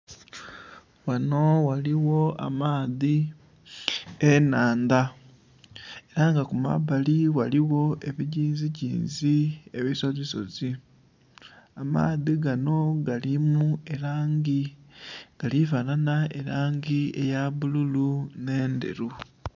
Ghano ghaligho amaadhi, ennhandha, ela nga ku mabbali ghaligho ebigiizigiizi ebisozisozi. Amaadhi gano galimu elangi...gali fanhanha elangi eya bbululu n'endheru.